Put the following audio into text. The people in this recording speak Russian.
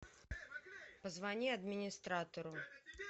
позвони администратору